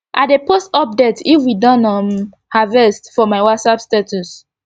i dey post update if we don um harvest for my whatsapp status